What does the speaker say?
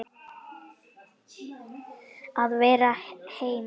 Að vera heima.